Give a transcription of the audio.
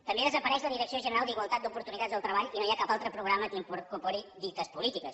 també desapareix la direcció general d’igualtat d’oportunitats del treball i no hi ha cap altra programa que incorpori dites polítiques